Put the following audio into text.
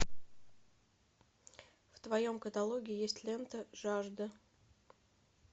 в твоем каталоге есть лента жажда